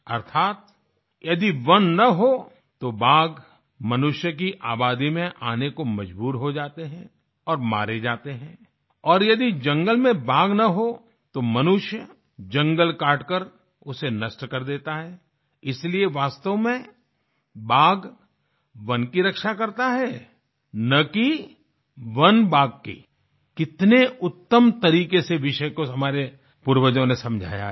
अर्थात यदि वन न हों तो बाघ मनुष्य की आबादी में आने को मजबूर हो जाते हैं और मारे जाते हैं और यदि जंगल में बाघ न हों तो मनुष्य जंगल काटकर उसे नष्ट कर देता है इसलिए वास्तव में बाघ वन की रक्षा करता है न कि वन बाघ की कितने उत्तम तरीके से विषय को हमारे पूर्वजों ने समझाया है